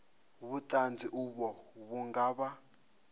vhuṱanzi uvho vhu nga vha